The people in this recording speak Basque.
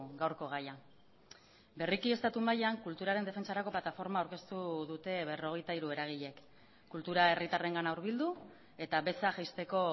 gaurko gaia berriki estatu mailan kulturaren defentsarako plataforma aurkeztu dute berrogeita hiru eragileek kultura herritarrengana hurbildu eta beza jaisteko